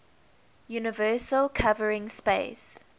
universal covering space